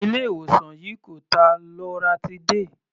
Ilé ìwòsàn yìí kò ta loratiday.